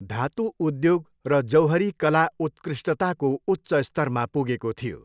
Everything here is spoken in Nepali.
धातु उद्योग र जौहरी कला उत्कृष्टताको उच्च स्तरमा पुगेको थियो।